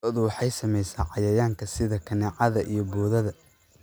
Lo'da waxaa saameeya cayayaanka sida kaneecada iyo boodada.